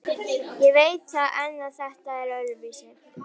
Ég veit það en þetta var öðruvísi.